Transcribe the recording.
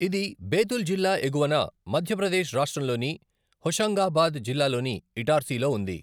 ఇది బేతుల్ జిల్లా ఎగువన, మధ్యప్రదేశ్ రాష్ట్రంలోని హోషంగాబాద్ జిల్లాలోని ఇటార్సీలో ఉంది.